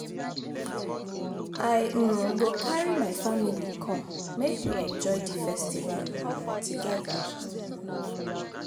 I um go carry my family come, make we enjoy di festival um together. um